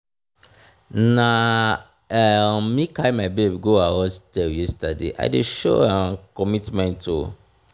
na um me carry my babe go her hostel yesterday i dey show um commitment o.